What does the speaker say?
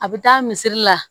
A bɛ taa miseli la